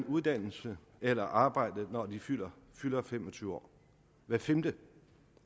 uddannelse eller arbejde når de fylder fylder fem og tyve år hvert femte